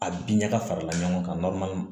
A bin ɲaga fara ɲɔgɔn kan